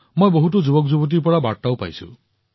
মই বহুত যুৱকযুৱতীৰ পৰা বাৰ্তাও পাইছো